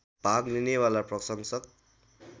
भाग लिनेवाला प्रशंसक